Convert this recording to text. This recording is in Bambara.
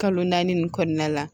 Kalo naani nin kɔnɔna la